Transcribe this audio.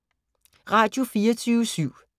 Radio24syv